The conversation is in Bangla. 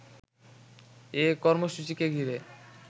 এ কর্মসূচিকে ঘিরে